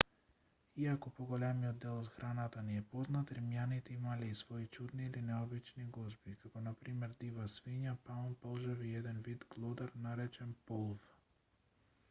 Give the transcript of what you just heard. иако поголемиот дел од храната ни е познат римјаните имале и свои чудни или необични гозби како на пример дива свиња паун полжави и еден вид глодар наречен полв